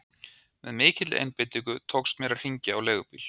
Með mikilli einbeitingu tókst mér að hringja á leigubíl.